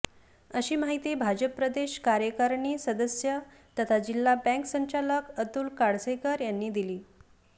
अशी माहिती भाजप प्रदेश कार्यकारिणी सदस्य तथा जिल्हा बँक संचालक अतुल काळसेकर यांनी दिली